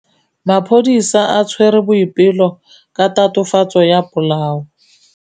Maphodisa a tshwere Boipelo ka tatofatsô ya polaô.